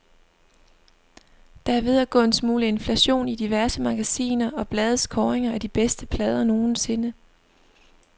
Der er ved at gå en smule inflation i diverse magasiner og blades kåringer af de bedste plader nogensinde.